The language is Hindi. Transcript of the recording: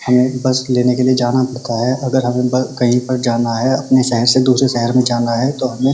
हमें बस लेने के लिए जाना पड़ता है अगर हमें ब कहीं पर जाना है अपने शहर से दूसरे शहर जाना है तो हमें --